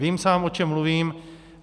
Vím sám, o čem mluvím.